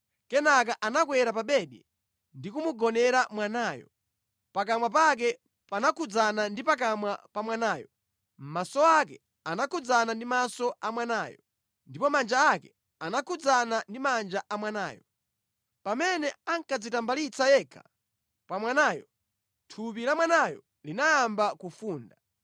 Kenaka anakwera pa bedi ndi kumugonera mwanayo, pakamwa pake panakhudzana ndi pakamwa pa mwanayo, maso ake anakhudzana ndi maso a mwanayo, ndipo manja ake anakhudzana ndi manja a mwanayo. Pamene ankadzitambalitsa yekha pa mwanayo, thupi la mwanayo linayamba kufunda.